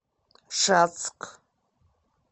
шацк